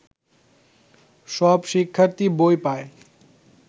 সব শিক্ষার্থী বই পায়